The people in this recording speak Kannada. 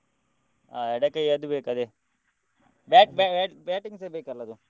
ಆ ಎಡ ಕೈ ಅದ್ದು ಬೇಕು ಅದೇ bat~ bat~ batting ಸ ಬೇಕಲ್ಲ ಅದು.